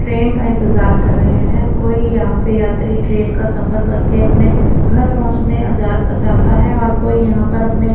train का इंतजार कर रहे हैं कोई यहां पर यात्री ट्रेन का सफर करके अपने घर पहुंचने आजाद चाहता है और कोई यहां पर अपने--